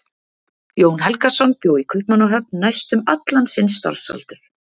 Jón Helgason bjó í Kaupmannahöfn næstum allan sinn starfsaldur.